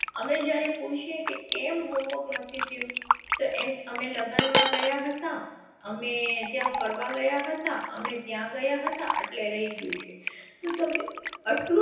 અમે જયારે પૂછીએ કે કેમ homework નથી થયું તો એમ અમે લગ્ન માં ગયા હતા અમે ત્યાં ફરવા ગયા હતા અમે ત્યાં ગયા હતા એટલે રહી ગયું છે તો તમે આટલુ